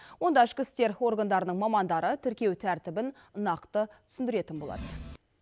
онда ішкі істер органдарының мамандары тіркеу тәртібін нақты түсіндіретін болады